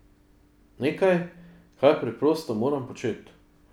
Nekaj, kar preprosto moram početi.